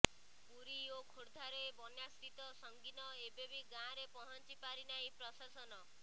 ପୁରୀ ଓ ଖୋର୍ଦ୍ଧାରେ ବନ୍ୟାସ୍ଥିତି ସଙ୍ଗୀନ ଏବେବି ଗାଁରେ ପହଞ୍ଚିପାରିନାହିଁ ପ୍ରଶାସନ